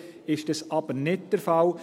Hier ist das aber nicht der Fall.